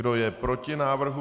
Kdo je proti návrhu?